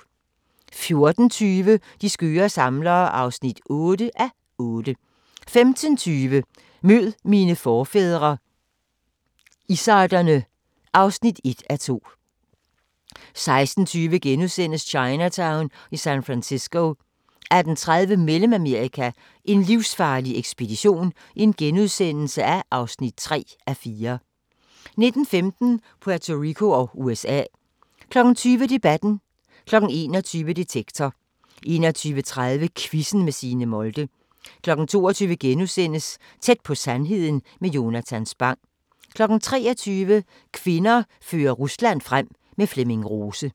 14:20: De skøre samlere (8:8) 15:20: Mød mine forfædre – izzarderne (1:2) 16:20: Chinatown i San Francisco * 18:30: Mellemamerika: en livsfarlig ekspedition (3:4)* 19:15: Puerto Rico og USA 20:00: Debatten 21:00: Detektor 21:30: Quizzen med Signe Molde 22:00: Tæt på sandheden med Jonatan Spang * 23:00: Kvinder fører Rusland frem - med Flemming Rose